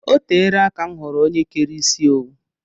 Oteela aka m hụrụ ónyé kéré isi owu